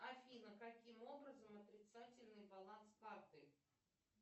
афина каким образом отрицательный баланс карты